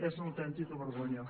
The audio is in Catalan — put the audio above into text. és una autèntica vergonya